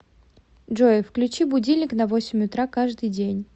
джой включи будильник на восемь утра каждый день